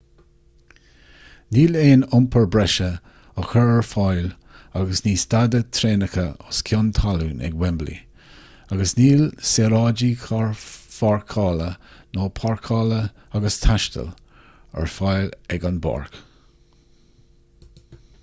níl aon iompar breise á chur ar fáil agus ní stadfaidh traenacha os cionn talún ag wembley agus níl saoráidí carrpháirceála ná páirceála agus taistil ar fáil ag an bpáirc